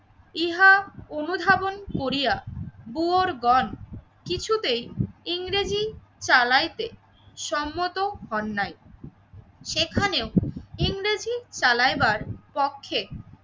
ইহা অনুধাবন করিয়া বুওর গন কিছুতেই ইংরেজি চালাইতে সম্মত হন নাই। সেখানেও ইংরেজি চালাইবার পক্ষে